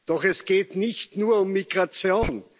Doch es geht nicht nur um Migration.